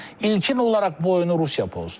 İlkin olaraq bu oyunu Rusiya pozdu.